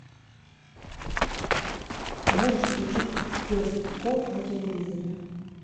можешь включить пес и ко на телевизоре